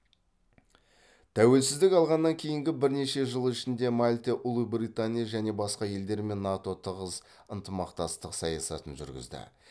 тәуелсіздік алғаннан кейінгі бірнеше жыл ішінде мальта ұлыбритания және басқа елдермен нато тығыз ынтымақтастық саясатын жүргізді